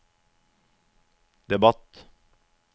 debatt